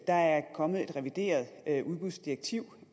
der er kommet et revideret udbudsdirektiv